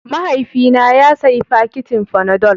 Mahaifina ya sayi fakitin fanadol.